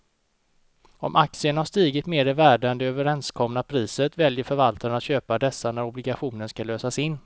Om aktierna har stigit mer i värde än det överenskomna priset väljer förvaltaren att köpa dessa när obligationen ska lösas in.